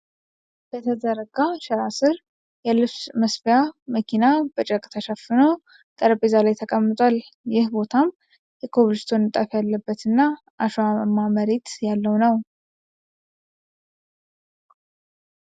በተዘረጋ ሸራ ስር የልብስ መስፊያ መኪና በጨርቅ ተሸፍኖ በጠረጴዛ ላይ ተቀምጧል። ይህ ቦታም የኮብልስቶን ንጣፍ ያለበት እና አሸዋማ መሬት ያለው ነው።